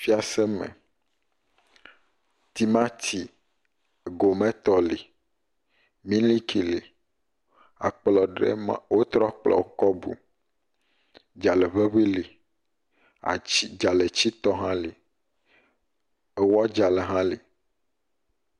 Fiase me, timati go me tɔ li, miliki li. Akplɔ ɖe ma, wotrɔ kplɔ kɔ bu, dzalẽ ŋeŋi li. Atsi, dzalẽtsitɔ hã li. Ewɔ dzalẽ hã li.